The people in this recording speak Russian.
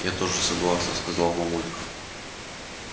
я тоже согласна сказала мамулька которая от удовольствия снова зарделась как маков цвет